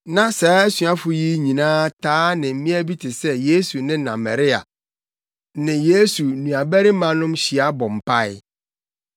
Na saa asuafo yi nyinaa taa ne mmea bi te sɛ Yesu ne na Maria ne Yesu nuabarimanom hyia bɔ mpae.